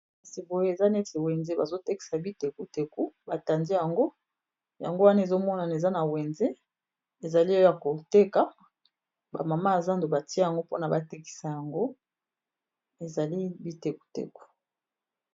Esika oyo eza neti wenze bazotekisa bitekuteku batandi yango ,yango wana ezomonana eza na wenze ezali o ya koteka bamama yazando batia yango pona batekisa yango ezali bitekuteku.